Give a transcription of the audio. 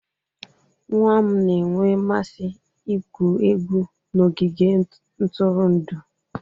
Nwa m na-enwe mmasị igwu egwu n'ogige ntụrụndụ.